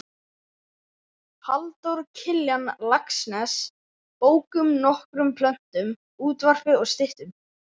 Halldór Kiljan Laxness bókum, nokkrum plöntum, útvarpi og styttum.